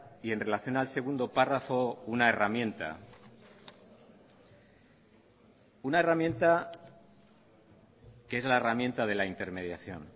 y en relación al segundo párrafo una herramienta una herramienta que es la herramienta de la intermediación